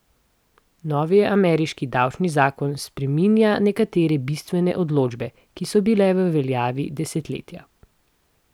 Novi ameriški davčni zakon spreminja nekatere bistvene določbe, ki so bile v veljavi desetletja.